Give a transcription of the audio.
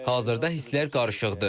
Hazırda hisslər qarışıqdır.